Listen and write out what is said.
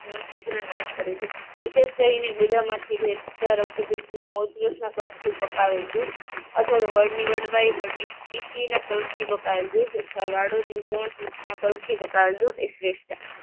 શિગ્ર નાશ કરે છે. વિશેષ કરીને ગુદામાંથી વહેતા રક્તપિતમાં થી પકાવેલ દૂધ અથવા વળની વડવાઈ કલ્પથી પકાવેલ દૂધ અથવા વાળોની સૂક્ષ્મ કલ્પથી પકાવેલ દૂધ એ શ્રેષ્ઠ છે.